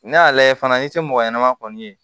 Ne y'a lajɛ fana n'i tɛ mɔgɔ ɲɛnama kɔni ye